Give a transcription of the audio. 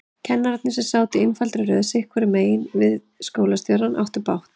Kennararnir, sem sátu í einfaldri röð sitthvoru megin við skólastjórann, áttu bágt.